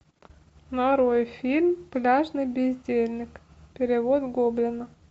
нарой фильм пляжный бездельник перевод гоблина